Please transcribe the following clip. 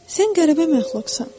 Sən qəribə məxluqsan.